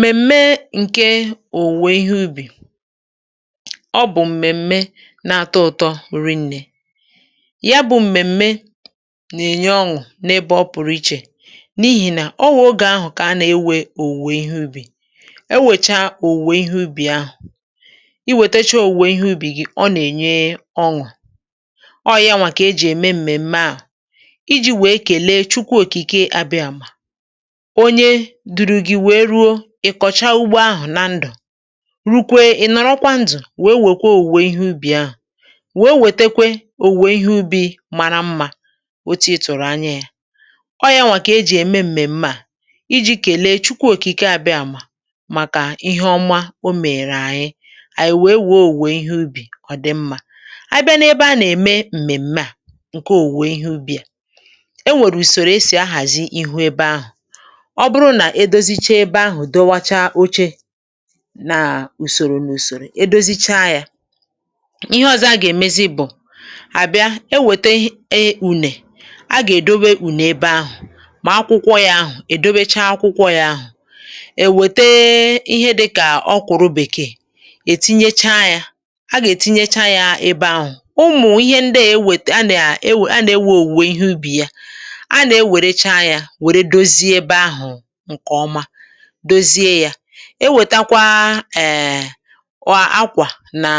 m̀mèm̀me ǹke òwùwè ihe ubì ọ bụ̀ m̀mèm̀me nà-atọ ụ̀tọ̀, wùri̇ nne yà bụ̇ m̀mèm̀me nà-ènye ọṅụ̀ n’ebe ọ pụ̀rụ̀ iche, n’ihì nà o wèe ogè ahụ̀ kà a nà-ewè òwùwè ihe ubì. E wèchà òwùwè ihe ubì ahụ̀, i wètechà òwùwè ihe ubì gị̇, ọ nà-ènye ọṅụ̀ um, ọọ̀ yanwà kà ejì ème m̀mèm̀me à iji̇ wèe kèle Chukwu Òkìkè, àbịàmà dùrù gị̇ wèe ruo ị kọ̀chàà ugbȯ ahụ̀, nà ndụ̀ rùkwè, ị̀ nọ̀rọ̀kwa ndụ̀ wèe wèkwà òwùwè ihe ubì ahụ̀ .Wèe wètekwe òwùwè ihe ubì mara mmȧ, otu̇ ị tụ̀rụ̀ anya yȧ; ọ yà nwa, kà ejì ème m̀mèm̀me à iji̇ kèlee Chukwu Òkìkè àbịà, màkà ihe ọma o mèrè ànyị. Ànyị̀ wèe wèe òwùwè ihe ubì ọ̀ dị mmȧ. À bịa n’ebe a nà-ème m̀mèm̀me à ǹke òwùwè ihe ubì à, e nwèrè ùsòrò esì ahàzi ihu ebe ahụ̀ èdò̇zichà ebe ahụ̀, dọwachàà oche nà ùsòrò n’ùsòrò, èdòzichà yȧ ihe ọ̇zọ̇ .A gà-èmezì bụ̀, à bịa ewète unė, a gà-èdòbè unė ebe ahụ̀. Mà akwụkwọ yȧ ahụ̀, èdòbèchàà akwụkwọ yȧ ahụ̀, èwète ihe dịkà ọkụ̀rụ̀ Bèkè, ètinyechà yȧ, a gà-ètinyechà yȧ ebe ahụ̀. Ụmụ̀ ihe ndị a ewètè, a nà-ewè, a nà-ewè òwùwè ihe ubì yà; a nà-ewèrèchà yȧ, wèrè dòzie ebe ahụ̀, dòzie yȧ.È wètàkwà eè, nwa akwà nà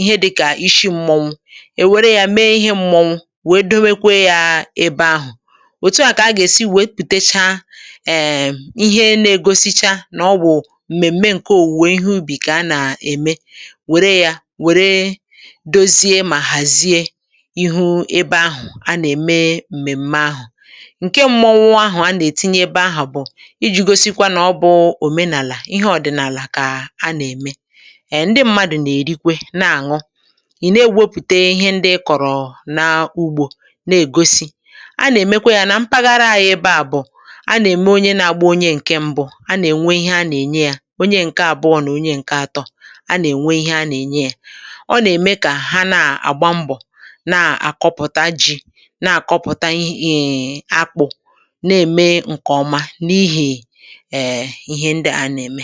ihe dịkà ishi mmọnwụ̇; è wèrè yȧ mee ihe mmọnwụ̇, wèe dòwèkwè yȧ ebe ahụ̀. Wòtu à, kà a gà-èsì wèe pùtèchà eè, ihe nà-égosìchà nà ọ bụ̀ m̀mèm̀me ǹke òwùwè ihe ubì kà a nà-ème. Wèrè yȧ, wèrè dòzie, mà hàzì ihu ebe ahụ̀ a nà-ème m̀mèm̀me ahụ̀ .Ǹke mmọnwụ̇ ahụ̀ a nà-ètinye ebe ahụ̀, ǹdí m̀madụ̇ nà-èrikwè, nà-àṅụ̀. Ì na-egwòpụtè ihe ndị ị kọ̀rọ̀ n’ugbȯ, na-ègòsì; a nà-èmekwà yȧ nà mpaghara à, yà ebe à bụ̀, a nà-ème onye nà-agbà onye ǹke mbụ̇.A nà-ènwè ihe a nà-ènye yȧ, onye ǹke àbụọ̀ nà onye ǹke atọ̀, a nà-ènwè ihe a nà-ènye yȧ. Ọ nà-ème kà hà na-àgbà mbọ̀, na-àkọpụta ji, na-àkọpụta akpụ̇ um, ǹm̀ ihe ndị a nà-ème.